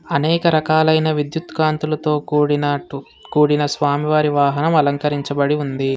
అనేక రకాలైన విద్యుత్ కాంతూలతో కూడినట్టు కూడిన స్వామివారి వాహనం అలంకరించబడి ఉంది.